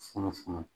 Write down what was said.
Funufunu